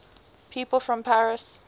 people from paris